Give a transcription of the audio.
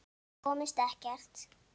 Komust ekkert.